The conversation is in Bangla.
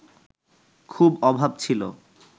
খুব অভাব ছিল